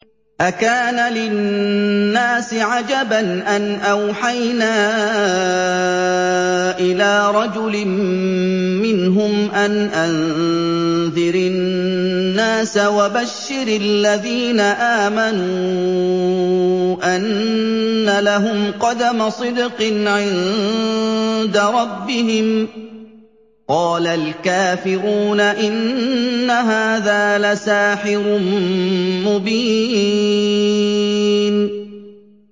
أَكَانَ لِلنَّاسِ عَجَبًا أَنْ أَوْحَيْنَا إِلَىٰ رَجُلٍ مِّنْهُمْ أَنْ أَنذِرِ النَّاسَ وَبَشِّرِ الَّذِينَ آمَنُوا أَنَّ لَهُمْ قَدَمَ صِدْقٍ عِندَ رَبِّهِمْ ۗ قَالَ الْكَافِرُونَ إِنَّ هَٰذَا لَسَاحِرٌ مُّبِينٌ